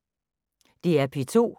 DR P2